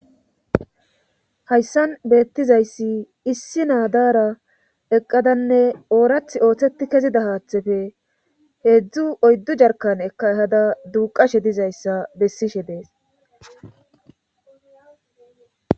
hayssan beettizayssi issi naadara eqqadanne oorath ooththeti kezida haaththefe heedzdzu oyddu jarkan eka hada duuqashe dizayssa bessishe dees